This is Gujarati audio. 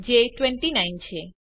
જે 29 છે